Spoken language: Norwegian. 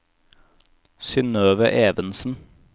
Synøve Evensen